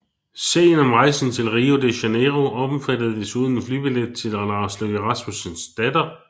Sagen om rejsen til Rio de Janeiro omfattede desuden en flybillet til Lars Løkke Rasmussens datter